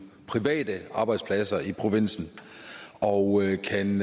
private arbejdspladser i provinsen og kan